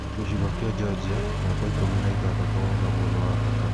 Gĩchigo gia Georgia (numba ikumi na ithathatu) o naguo nĩ wa bata.